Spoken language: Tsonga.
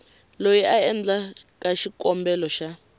loyi a endlaka xikombelo xa